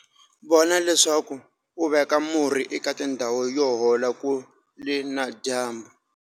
Vona leswaku u veka murhi eka tindhawu yo hola kule na dyambu.